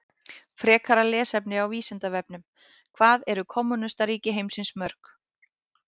Frekara lesefni á Vísindavefnum: Hvað eru kommúnistaríki heimsins mörg?